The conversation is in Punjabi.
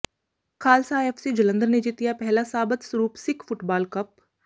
ਖ਼ਾਲਸਾ ਐੱਫਸੀ ਜਲੰਧਰ ਨੇ ਜਿੱਤਿਆ ਪਹਿਲਾ ਸਾਬਤ ਸਰੂਪ ਸਿੱਖ ਫੁੱਟਬਾਲ ਕੱਪ